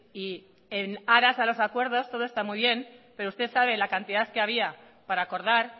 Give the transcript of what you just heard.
y en aras a los acuerdos todo está muy bien pero usted sabe la cantidad que había para acordar